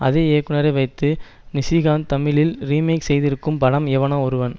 அதே இயக்குனரை வைத்து நிஷிகாந்த் தமிழில் ரீமேக் செய்திருக்கும் படம் எவனோ ஒருவன்